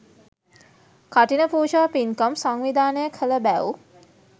කඨින පූජා පින්කම් සංවිධානය කළ බැව්